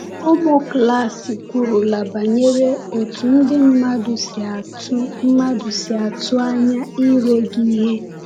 “Ụmụ klas kwurula banyere otú ndị mmadụ si atụ mmadụ si atụ anya ire gị ihe.”